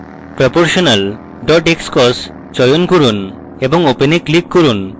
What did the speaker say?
proportional xcos চয়ন করুন এবং open এ click করুন